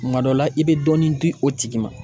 Kuma dɔ la i bɛ dɔɔnin di o tigi ma